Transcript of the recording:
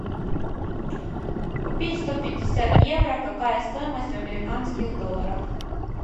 купить сто пятьдесят евро какая стоимость в американских долларах